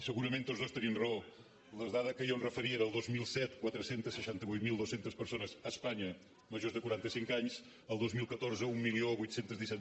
segurament tots dos tenim raó la dada a què jo em referia era el dos mil set quatre cents i seixanta vuit mil dos cents persones a espanya majors de quaranta cinc anys el dos mil catorze divuit deu set